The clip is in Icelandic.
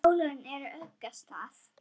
álögin úr ugga stað